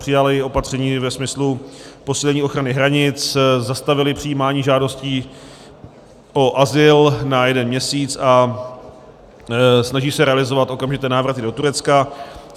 Přijali opatření ve smyslu posílení ochrany hranic, zastavili přijímání žádostí o azyl na jeden měsíc a snaží se realizovat okamžité návraty do Turecka.